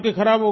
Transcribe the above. खराब हो गए